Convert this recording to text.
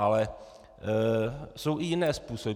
Ale jsou i jiné způsoby.